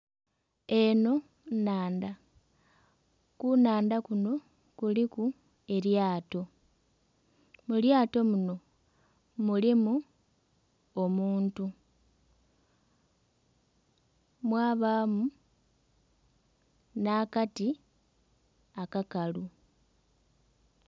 Eno nnhandha, ku nnhandha kuno kuliku elyato, mu lyato muno mulimu omuntu mwabaamu n'akati akakalu.